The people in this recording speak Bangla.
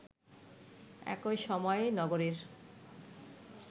একই সময় নগরীর